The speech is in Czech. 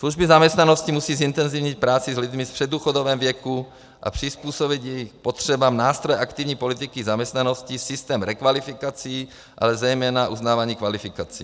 Služby zaměstnanosti musí zintenzivnit práci s lidmi v předdůchodovém věku a přizpůsobit jejich potřebám nástroje aktivní politiky zaměstnanosti, systém rekvalifikací, ale zejména uznávání kvalifikací.